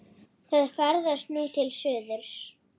Það ferðast nú til suðurs.